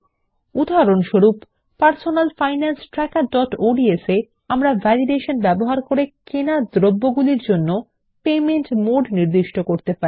উদাহরণস্বরূপ personal finance ট্র্যাকারodsএ আমরা ভ্যালিডেশন ব্যবহার করে কেনা দ্রব্যগুলির জন্য পেমেন্ট মোড নির্দিষ্ট করতে পারি